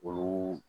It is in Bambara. Olu